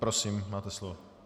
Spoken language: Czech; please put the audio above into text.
Prosím, máte slovo.